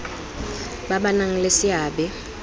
ba ba nang le seabe